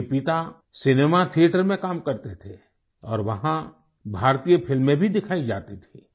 उनके पिता cinema theatre में काम करते थे और वहाँ भारतीय फ़िल्में भी दिखाई जाती थी